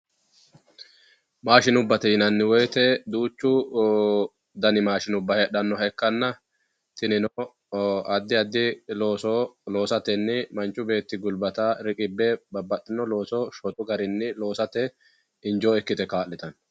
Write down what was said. maashshinubbate yinanni woyte eee duuchu dani mashshinubba heedhannoha ikkanna tinino addi addi looso loosatenni manchi beeti gulbata riqibbe babbaxinno looso shotu garinni loosate injoo ikkite kaa'litanno